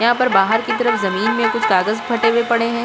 यहाँ पर बाहर की तरफ जमीन में कुछ कागज फटे हुए पड़े हैं।